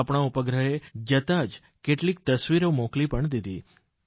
આપણા ઉપગ્રહે જતાં જ કેટલીક તસવીરો મોકલી પણ દીધી